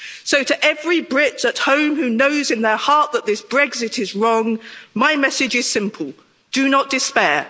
So, to every Brit at home who knows in their heart that this Brexit is wrong, my message is simple do not despair.